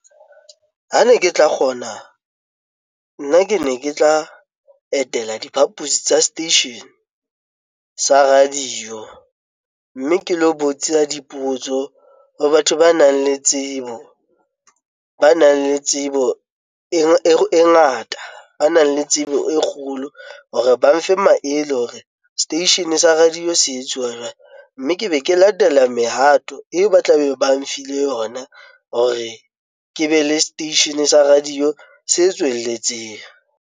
Ha ne ke tla kgona nna ke ne ke tla etela diphapusi tsa station sa radio mme ke lo botsa dipotso ho batho ba nang le tsebo, ba nang le tsebo e ngata, ba nang le tsebo e kgolo hore ba mfe maele hore seteishene sa radio se tswela, mme ke be ke latela mehato eo, ba tla be ba mfile yona hore ke be le seteishene sa radio setswelletseng.